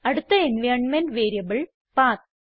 അടുത്ത environment variable പത്ത്